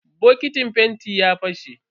Bokitin fentin ya fashe.